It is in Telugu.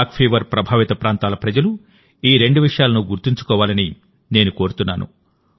కాలాజార్ ప్రభావిత ప్రాంతాల ప్రజలు రెండు విషయాలను గుర్తుంచుకోవాలని నేను కోరుతున్నాను